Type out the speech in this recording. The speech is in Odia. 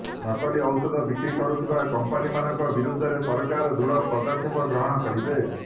ନକଲି ଔଷଧ ବିକ୍ରି କରୁଥିବା କମ୍ପାନୀମାନଙ୍କ ବିରୋଧରେ ସରକାର ଦୃଢ ପଦକ୍ଷେପ ଗ୍ରହଣ କରିବେ